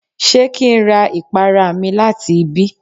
Ṣé kí n ra ìpara mi láti ibí?